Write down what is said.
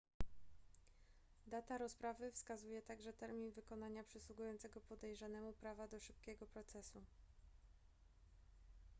data rozprawy wskazuje także termin wykonania przysługującego podejrzanemu prawa do szybkiego procesu